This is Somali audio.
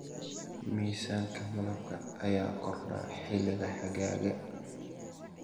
Miisaanka malabka ayaa kordha xilliga xagaaga.